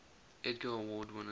edgar award winners